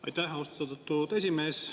Aitäh, austatud esimees!